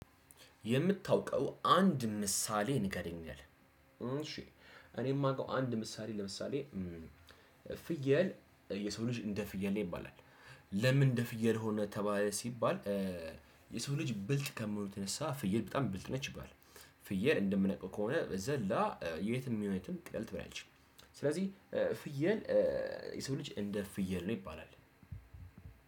የምታውቀው አንድ ምሳሌ ንገረኝ ይላል? እሺ እኔ የማውቀው አንድ ምሳሌ ለምሳሌ ፍየል የሰው ልጅ እንደ ፍየል ነው ይባላል። ለምን እንደ ፍየል ሆነ ተባለ ሲባል? የሰው ልጅ ብልጥ ከመሆኑ የተነሳ ፍየል በጣም ብልጥ ነች ይባላል። ፍየል እንደምነቃው ከሆነ ዘላ የትም ሚሆን የትም ቅጠል ትበላለች። ስለዚህ ፍየል የሰው ልጅ እንደ ፍየል ነው ይባላል።